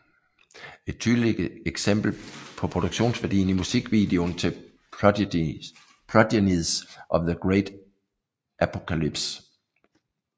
Et tydeligt eksempel ses på produktionsværdien i musikvideon til Progenies of the Great Apocalypse